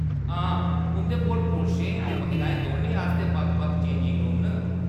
हां, उंʼदे कोल पुरशें ते महिलाएं दौनें आस्तै बक्ख-बक्ख चेंजिंग रूम न।